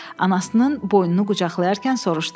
Anasının boynunu qucaqlayarkən soruşdu: